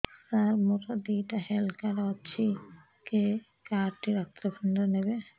ସାର ମୋର ଦିଇଟା health card ଅଛି କେ କାର୍ଡ ଟି ଡାକ୍ତରଖାନା ରେ ନେବେ